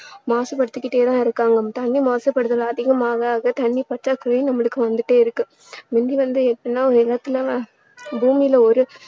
மாசுபடுத்திக்கிட்டே தான் இருக்காங்க. தண்ணீர் மாசுபடுதல் அதிகம் ஆக ஆக தண்ணீர் பற்றாக்குறையும் நம்மளுக்கு வந்துட்டே இருக்கு. முந்தி வந்து எப்படின்னா உலகத்துல பூமியில ஒரு